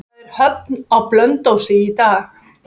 Það er höfn á Blönduósi í dag.